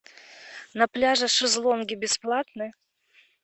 на пляже шезлонги бесплатны